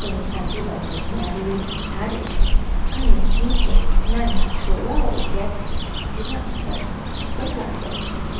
ને આજુબાજુ નારિયેળીના ઝાડ છે અને નીચે નાના છોડવાઓ ઉગ્યા છે જેના ઉપર ફૂલ પણ લાગ્યા છે.